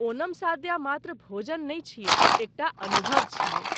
ओणम सादया मात्र भोजन नहि छियै, एकटा अनुभव छियै।